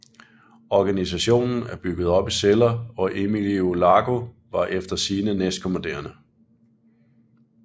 Organisationen er bygget op i celler og Emilio Largo var efter sigende næstkommanderende